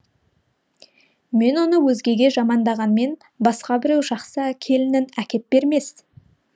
мен оны өзгеге жамандағанмен басқа біреу жақсы келінін әкеп бермес